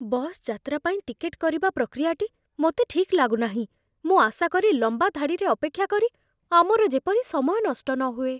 Bus ଯାତ୍ରା ପାଇଁ ticket କରିବା ପ୍ରକ୍ରିୟାଟି ମୋତେ ଠିକ୍ ଲାଗୁନାହିଁ, ମୁଁ ଆଶା କରେ, ଲମ୍ବା ଧାଡ଼ିରେ ଅପେକ୍ଷା କରି ଆମର ଯେପରି ସମୟ ନଷ୍ଟ ନହୁଏ।